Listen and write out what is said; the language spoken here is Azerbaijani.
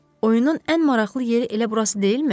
Oyunun ən maraqlı yeri elə burası deyilmi?